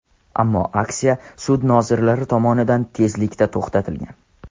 Ammo aksiya sud nozirlari tomonidan tezlikda to‘xtatilgan.